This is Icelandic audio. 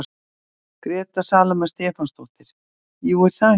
Gréta Salóme Stefánsdóttir: Jú, er það ekki?